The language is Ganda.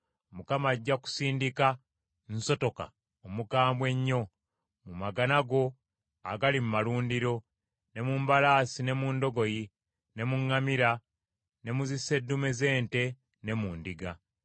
Mukama ajja kusindika nsotoka omukambwe ennyo mu magana go agali mu malundiro, ne mu mbalaasi ne mu ndogoyi, ne mu ŋŋamira, ne mu zisseddume z’ente ne mu ndiga.